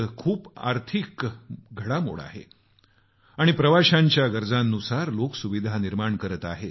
खूप मोठी आर्थिक घडामोड होत आहे आणि प्रवाशांच्या गरजांनुसार लोक सुविधा निर्माण करत आहेत